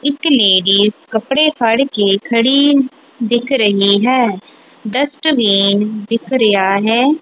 ਇੱਕ ਲੇਡੀ ਕੱਪੜੇ ਫੜ ਕੇ ਖੜੀ ਦਿਖ ਰਹੀ ਹੈ ਡਸਟ ਬਿਨ ਦਿਖ ਰਿਹਾ ਹੈ।